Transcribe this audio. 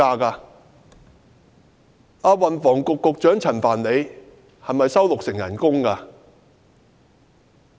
運輸及房屋局局長陳帆是否只收取六成薪金？